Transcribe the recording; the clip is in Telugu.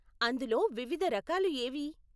అందులో వివిధ రకాలు ఏవి?